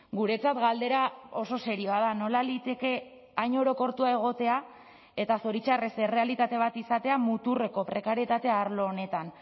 guretzat galdera oso serioa da nola liteke hain orokortua egotea eta zoritxarrez errealitate bat izatea muturreko prekarietatea arlo honetan